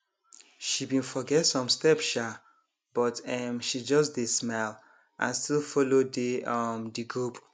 she bin forget some step um but um she just dey smile and still follow dey um de group